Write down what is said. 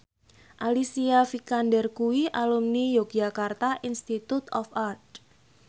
Alicia Vikander kuwi alumni Yogyakarta Institute of Art